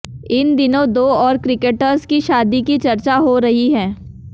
इन दिनों दो और क्रिकेटर्स की शादी की चर्चा हो रही है